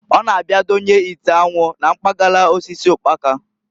Ọ na-abia donye ite anwụ na mpagala osisi ụkpaka.